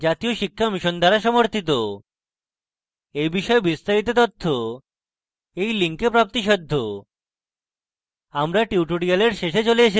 এই বিষয়ে বিস্তারিত তথ্য এই লিঙ্কে প্রাপ্তিসাধ্য spoken hyphen tutorial dot org slash nmeict hyphen intro